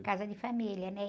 Em casa de família, né?